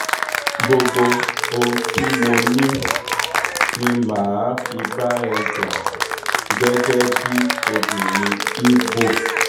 gbogbo ohun tí mo ní ni mà á fi bá ẹ jà gẹ́gẹ́ bíi obìnrin ibo